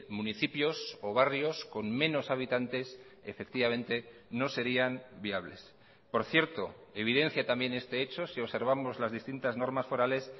municipios o barrios con menos habitantes efectivamente no serían viables por cierto evidencia también este hecho si observamos las distintas normas forales